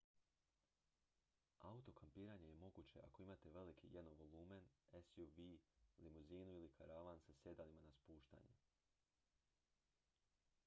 auto-kampiranje je moguće ako imate veliki jednovolumen suv limuzinu ili karavan sa sjedalima na spuštanje